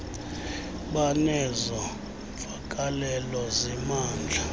banezo mvakalelo zimandla